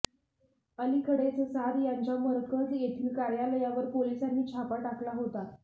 अलीकडेच साद यांच्या मरकज येथील कार्यालयावर पोलिसांनी छापा टाकला होता